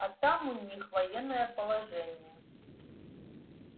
а там у них военное положение